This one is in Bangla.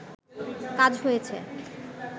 কাজ হয়েছে